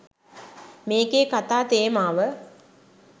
මේකේ කතා තේමාව.